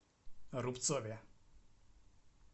рубцове